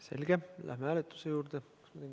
Selge, läheme hääletuse juurde.